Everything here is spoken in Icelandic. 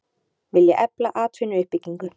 Vilja efla atvinnuuppbyggingu